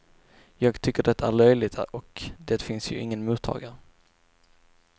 Jag tycker det är löjligt och det finns ju ingen mottagare.